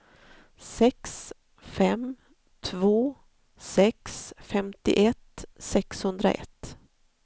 sex fem två sex femtioett sexhundraett